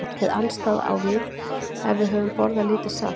Hið andstæða á við ef við höfum borðað lítið salt.